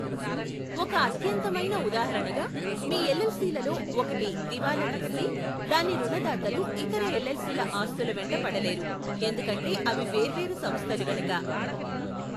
ఒక అత్యంతమైన ఉదాహరణగా, మీ ఎల్ఎల్సి లలో ఒకటి దివాళా తీస్తే, దాని రుణదాతలు ఇతర ఎల్ఎల్సి ల ఆస్తుల వెంట పడలేరు ఎందుకంటే అవి వేర్వేరు సంస్థలు గనుక.